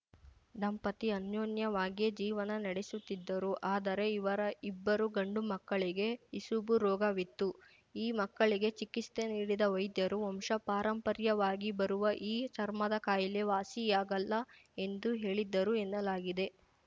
ದಂಪತಿ ಅನ್ಯೋನ್ಯವಾಗಿಯೇ ಜೀವನ ನಡೆಸುತ್ತಿದ್ದರು ಆದರೆ ಇವರ ಇಬ್ಬರೂ ಗಂಡುಮಕ್ಕಳಿಗೆ ಇಸುಬು ರೋಗವಿತ್ತು ಈ ಮಕ್ಕಳಿಗೆ ಚಿಕಿತ್ಸೆ ನೀಡಿದ್ದ ವೈದ್ಯರು ವಂಶಪಾರಂಪರ್ಯವಾಗಿ ಬರುವ ಈ ಚರ್ಮದ ಕಾಯಿಲೆ ವಾಸಿಯಾಗಲ್ಲ ಎಂದು ಹೇಳಿದ್ದರು ಎನ್ನಲಾಗಿದೆ